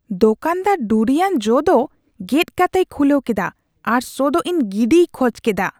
ᱫᱳᱠᱟᱱᱫᱟᱨ ᱰᱩᱨᱤᱭᱟᱱ ᱡᱚ ᱫᱚ ᱜᱮᱫ ᱠᱟᱛᱮᱭ ᱠᱷᱩᱞᱟᱹᱣ ᱠᱮᱫᱟ ᱟᱨ ᱥᱚᱼᱫᱚ ᱤᱧ ᱜᱤᱰᱤᱭ ᱠᱷᱚᱡ ᱠᱮᱫᱟ ᱾